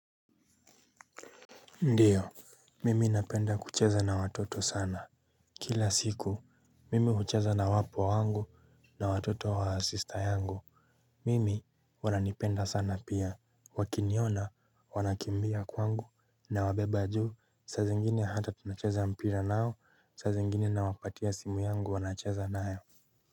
Ndiyo, mimi napenda kucheza na watoto sana. Kila siku, mimi hucheza na wapwa wangu na watoto wa sista yangu. Mimi wananipenda sana pia, wakiniona wanakimbia kwangu nawabeba juu. Saa zingine hata tunacheza mpira nao, saa zingine nawapatia simu yangu wanacheza nayo.